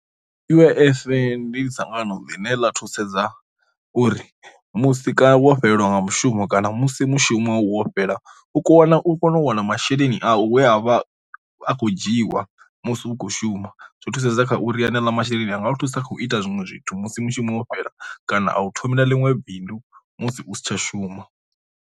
U_I_F ndi dzangano ḽine ḽa thusedza uri musi ka wo fhelelwa nga mushumo kana musi mushumo wo fhela u kho wana u kone u wana masheleni a u ya vha a kho dzhiwa musi u khou shuma, zwi thusedza kha uri haneaḽa masheleni anga thusa kha u ita zwiṅwe zwithu musi mushumo wo fhela kana a u thomela ḽiṅwe bindu musi u si tsha shuma.